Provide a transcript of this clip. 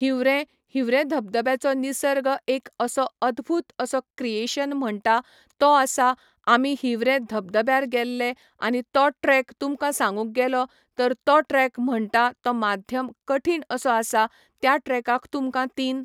हीवरेम हीवरेम धबधब्याचो निसर्ग एक असो अद्भुत असो क्रिऐशन म्हणटा तो आसा आमी हीवरेम धबधब्यार गेल्ले आनी तो ट्रेक तुमकां सांगूंक गेलो तर तो ट्रेक म्हणटा तो मध्याम कठिण असो आसा त्या ट्रेकाक तुमकां तीन